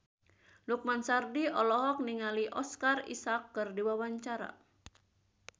Lukman Sardi olohok ningali Oscar Isaac keur diwawancara